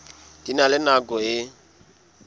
di na le nako e